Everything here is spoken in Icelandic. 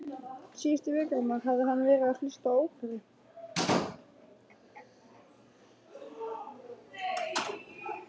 Síðustu vikurnar hafði hann verið að hlusta á óperu